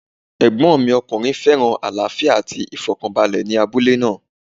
Ẹ̀gbọ́n mi ọkùnrin féràn àlàáfíà àti ìfọ̀kànbalẹ̀ ní abúlé náà.